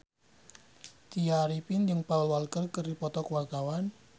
Tya Arifin jeung Paul Walker keur dipoto ku wartawan